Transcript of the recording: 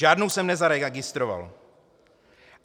Žádnou jsem nezaregistroval.